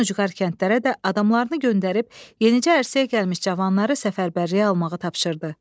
Ən ucqar kəndlərə də adamlarını göndərib yenicə ərsəyə gəlmiş cavanları səfərbərliyə almağı tapşırdı.